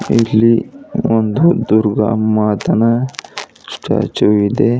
ಇಲ್ಲಿ ಒಂದು ದುರ್ಗಾ ಮಾತನ ಸ್ಟ್ಯಾಚು ಇದೆ.